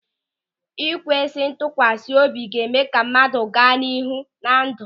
Ikwesị ntụkwasị obi ga-eme ka mmadụ gaa n'ihu na ndụ.